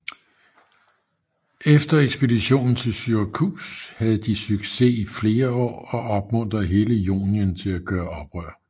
I efter Ekspeditionen til Syrakus havde de succes i flere år og opmuntrede hele Jonien til at gøre oprør